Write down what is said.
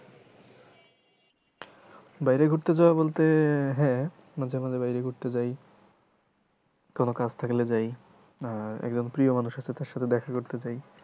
বাইরে ঘুরতে যাওয়া বলতে হ্যাঁ মাঝে মাঝে বাইরে ঘুরতে যায় কোনো কাজ থাকলে যাই আর একজন প্রিয় মানুষ আছে তার সাথে দেখা করতে যায়।